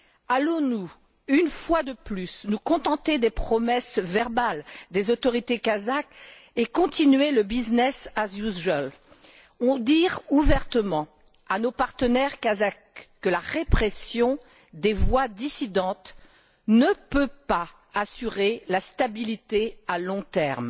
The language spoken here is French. Allons nous, une fois de plus, nous contenter des promesses verbales des autorités kazakhes et continuer le business as usual ou dire ouvertement, à nos partenaires kazakhs que la répression des voix dissidentes ne peut pas assurer la stabilité à long terme.